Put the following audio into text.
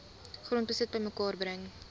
grondbesit bymekaar bring